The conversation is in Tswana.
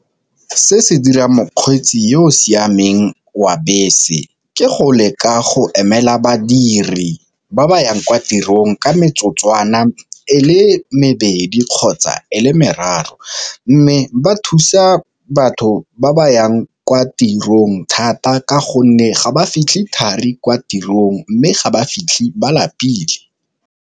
Se se dirang mokgweetsi yo o siameng wa bese ke go le ka go emela badiri ba ba yang kwa tirong ka metsotswana e le mebedi kgotsa e le meraro, mme ba thusa batho ba ba yang kwa tirong thata ka gonne ga ba fitlha thari kwa tirong, mme ga ba fitlhe ba lapile.